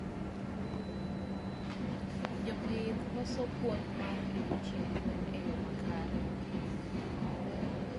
Jopith koso puonj mar riwo chiemb gwen e yoo makare